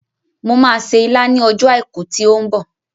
Mo máa se ilá ní ọjọ́ àìkú tí ó ń bọ̀